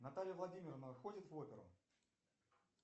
наталья владимировна ходит в оперу